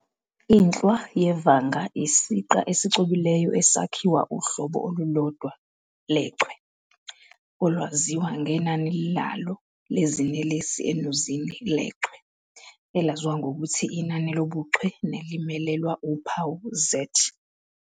Inhlwa yevanga yisiqa esicwebileyo esakhiwa uhlobo olulodwa lechwe, olwaziwa ngenani lalo lezinelesi enuzini lechwe, elaziwa ngokuthi inani lobuchwe nelimelelwa uphawu "Z".